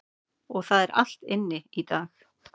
Það er allt inni í dag.